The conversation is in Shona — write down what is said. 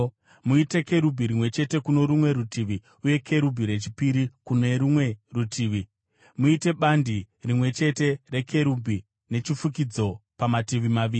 Muite kerubhi rimwe chete kuno rumwe rutivi uye kerubhi rechipiri kuno rumwe rutivi; muite bandi rimwe chete rekerubhi nechifukidzo, pamativi maviri.